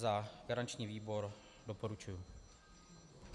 Za garanční výbor doporučuji.